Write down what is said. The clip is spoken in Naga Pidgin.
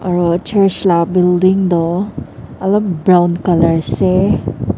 aro church la building toh olop brown color ase.